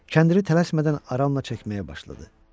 Kəndiri tələsmədən aramla çəkməyə başladı.